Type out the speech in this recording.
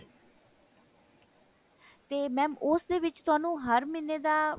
ਤੇ mam ਉਸ ਦੇ ਵਿੱਚ ਤੁਹਾਨੂੰ ਹਰ ਮਹੀਨੇ ਦਾ